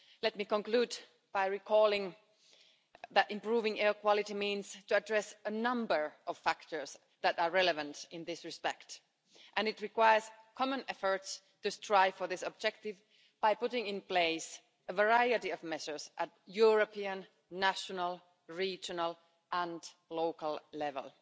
Let me conclude by recalling that improving air quality means to address a number of factors that are relevant in this respect, and it requires common efforts to strive for this objective by putting in place a variety of measures at European, national, regional and local level.